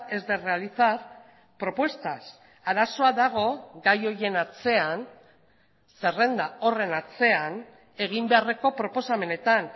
es de realizar propuestas arazoa dago gai horien atzean zerrenda horren atzean egin beharreko proposamenetan